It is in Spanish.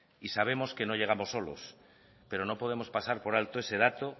y sabemos que no llegamos solos pero no podemos pasar por alto ese dato